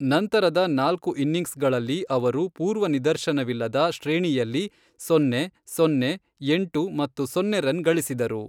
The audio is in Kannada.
ನಂತರದ ನಾಲ್ಕು ಇನಿಂಗ್ಸ್ಗಳಲ್ಲಿ ಅವರು ಪೂರ್ವನಿದರ್ಶನವಿಲ್ಲದ ಶ್ರೇಣಿಯಲ್ಲಿ ಸೊನ್ನೆ, ಸೊನ್ನೆ, ಎಂಟು ಮತ್ತು ಸೊನ್ನೆ ರನ್ ಗಳಿಸಿದರು.